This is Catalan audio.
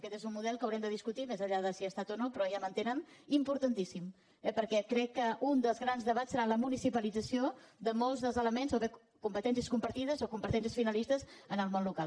aquest és un model que haurem de discutir més enllà de si hi ha estat o no pe·rò ja m’entenen importantíssim eh perquè crec que un dels grans debats serà la municipalització de molts dels elements o de competències compartides o com·petències finalistes en el món local